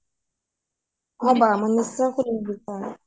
অ বা মই নিশ্চয় শুনিব বিচাৰু